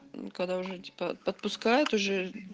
когда уже типа отпускает уже